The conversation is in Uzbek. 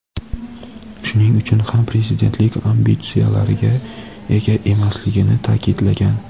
shuning uchun ham prezidentlik ambitsiyalariga ega emasligini ta’kidlagan.